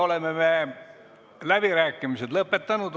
Oleme läbirääkimised lõpetanud.